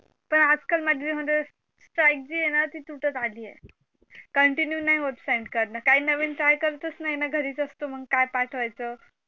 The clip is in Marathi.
पण आज काल माझं म्हणजे steak जी हेना ती तुटत आलीये continue नाही होत send करण काही नवीन try करतच नाही ना घरीच असतो मग काय पाठवायचं